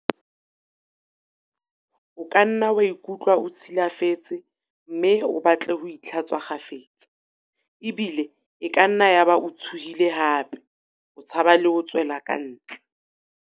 O kanna wa ikutlwa o tshi lafetse mme o batle ho itlha-tswa kgafetsa, ebile e kanna ya ba o tshohile hape o tshaba le ho tswela kantle.